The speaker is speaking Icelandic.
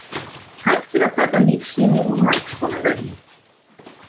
Hægt er að taka lífsýni úr margskonar vefjum.